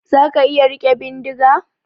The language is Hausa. Zaka iya rike bindiga?